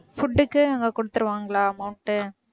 food க்கு அங்க குடுத்துடுவாங்களா amount உ